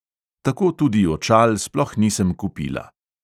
Tako tudi očal sploh nisem kupila.